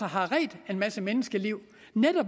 har reddet en masse menneskeliv